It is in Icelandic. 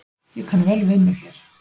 Ég kann vel við mig hér